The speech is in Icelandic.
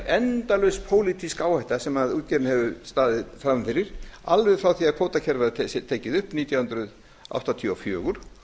endalaust pólitísk áhætta sem útgerðin hefur staðið frammi fyrir alveg frá því að kvótakerfið var tekið upp nítján hundruð áttatíu og fjögur